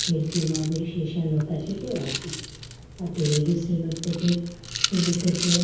Khidki ma bi sisha lopra chi atega po atudi bi sibruto chi.